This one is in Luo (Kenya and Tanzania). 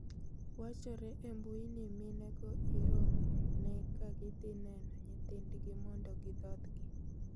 Wachore e mbui ni mine go iromo ne ka gidhi neno nyithindgi mondo gidhodhgi